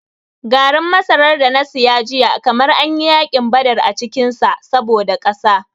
Garin masarar da na saya jiya kamar an yi yakin badar a cikin shi saboda ƙasa.